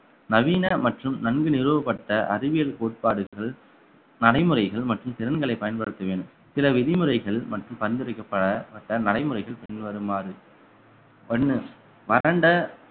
நவீன மற்றும் நன்கு நிறுவப்பட்ட அறிவியல் கோட்பாடுகள் நடைமுறைகள் மற்றும் திறன்களை பயன்படுத்துவேன் சில விதிமுறைகள் மற்றும் பரிந்துரைக்கப்படப்பட்ட நடைமுறைகள் பின்வருமாறு ஒண்ணு வறண்ட